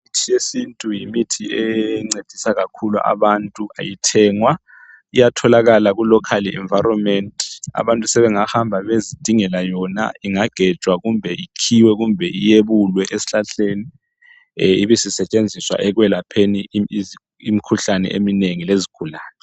Imithi yesintu yimithi encedisa kakhulu abantu ayithengwa iyatholakala ku "local environment" abantu sebengahamba beyezidingela yona ingagejwa kumbe ikhiwe kumbe iyebulwe esihlahleni ibisi setshenziswa ekwelapheni imikhuhlane eminengi lezigulane.